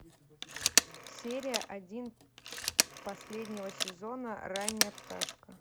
серия один последнего сезона ранняя пташка